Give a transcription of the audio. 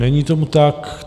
Není tomu tak.